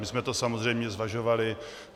My jsme to samozřejmě zvažovali.